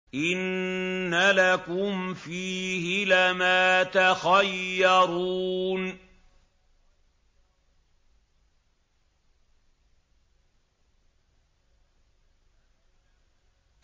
إِنَّ لَكُمْ فِيهِ لَمَا تَخَيَّرُونَ